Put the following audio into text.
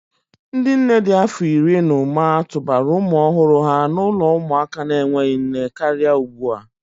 Ndị nne dị afọ iri na ụma tụbara ụmụ ọhụrụ ha n'ụlọ ụmụaka na-enweghị nne karịa ugbu a.